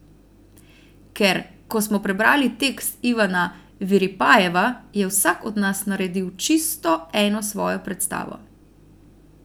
Ker, ko smo prebrali tekst Ivana Viripajeva, je vsak od nas naredil čisto eno svojo predstavo.